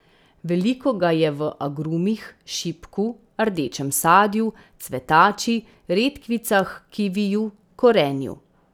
Veliko ga je v agrumih, šipku, rdečem sadju, cvetači, redkvicah, kiviju, korenju.